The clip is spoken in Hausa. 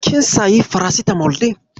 Kin sayi farasitamol ɗin?